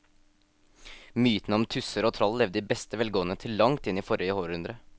Mytene om tusser og troll levde i beste velgående til langt inn i forrige århundre.